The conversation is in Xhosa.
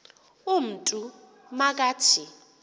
umntu ma kathi